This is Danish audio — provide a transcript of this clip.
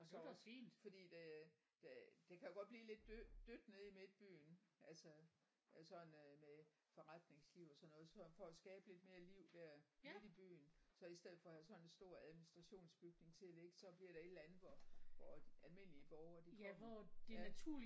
Og så også fordi det det det kan jo godt blive lidt dødt nede i midtbyen altså sådan øh med forretningsliv og sådan noget så for at skabe lidt mere liv der midt i byen så i stedet for at have sådan en stor administrationsbygning til at ligge så bliver der et eller andet hvor hvor almindelige borgere de kommer ja